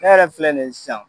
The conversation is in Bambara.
Ne yɛrɛ filɛ nin ye sisan.